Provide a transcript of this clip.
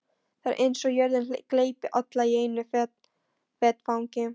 Það er eins og jörðin gleypi alla í einu vetfangi.